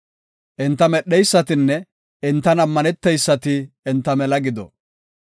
Enta medheysatinne enta ammaneteysati enta mela gido.